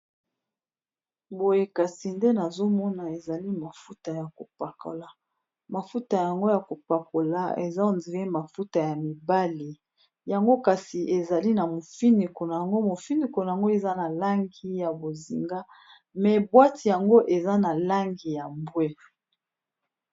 Boyekasi ndenazomona eza mafuta yakopakola mafuta yango yakopakola eza yamibali yango kasi ezanamufuniko nango eza nalangi yabozinga kasi buatte nango eza nalangi ya mbuwe